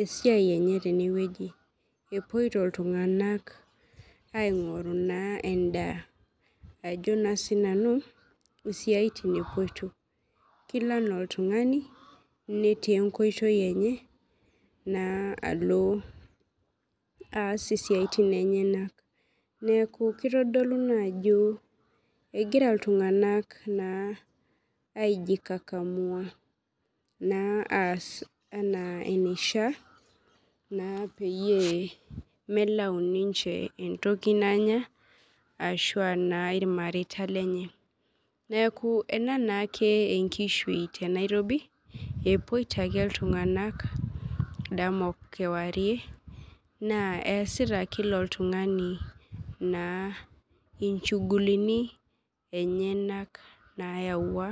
esiai enye tenewueji epuoito ltunganak aingoru endaa ajo na sinanu isiatin epoito kelo ana oltungani netii enkoitoi enye na alo aas siatin enyenak neaku kitadolu ajo egira ltunganak aijikakamua ana enishaa peyie melau ninchebentoki nanya ashu na imareita lenye neaku na ena naake enkishui tenairobi epoito ake ltunganak dama okewarie na easita kila oltungani nchugulini enyenak nayawua.